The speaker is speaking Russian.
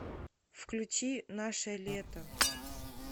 включи наше лето